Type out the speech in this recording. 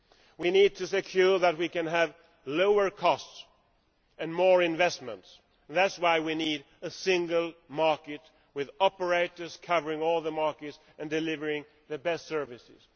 We need to ensure that we can have lower costs and more investments, and that is why we need a single market with operators covering all the markets and delivering the best services.